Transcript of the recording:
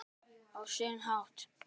Á sinn hátt.